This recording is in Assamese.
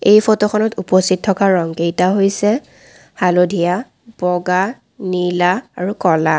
এই ফটোখনত উপস্থিত থকা ৰং কেইটা হৈছে - হালধীয়া বগা নীলা আৰু ক'লা।